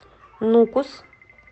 нукус